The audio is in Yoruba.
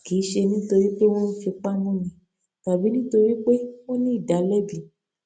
kì í ṣe nítorí pé wón ń fipá múni tàbí nítorí pé ó ní ìdàlẹbi